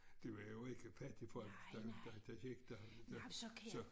Det var jo ikke fattigfolk der der der gik der så